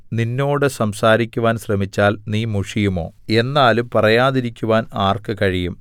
നിന്നോട് സംസാരിക്കുവാൻ ശ്രമിച്ചാൽ നീ മുഷിയുമോ എന്നാലും പറയാതിരിക്കുവാൻ ആർക്ക് കഴിയും